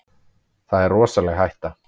Það er rosaleg hætta.